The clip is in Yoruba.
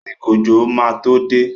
Àsìkò òjò máa to dé.